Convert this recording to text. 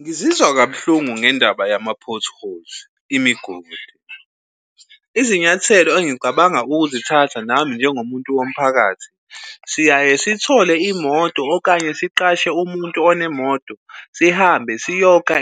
Ngizizwa kabuhlungu ngendaba yama-potholes, imigodi. Izinyathelo engicabanga ukuzithatha nami njengomuntu womphakathi, siyaye sithole imoto okanye siqashe umuntu onemoto. Sihambe siyokha